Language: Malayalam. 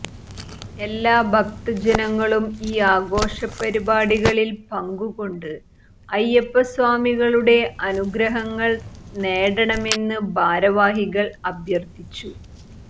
എല്ലാ ഭക്ത ജനങ്ങളും ഈ ആഘോഷ പരിപാടികളിൽ പങ്കുകൊണ്ട് അയ്യപ്പ സ്വാമികളുടെ അനുഗ്രഹങ്ങൾ നേടണമെന്ന് ഭാരവാഹികൾ അഭ്യർത്ഥിച്ചു